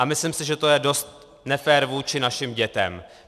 A myslím si, že to je dost nefér vůči našim dětem.